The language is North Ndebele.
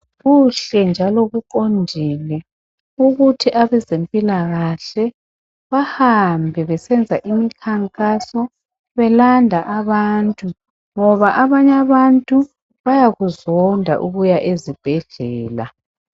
Kuhle njalo kuqondile ukuthi abezempilakahle bahambe besenza imikhankaso belanda abantu ngoba abanye abantu bayakuzonda ukuya ezibhedlela.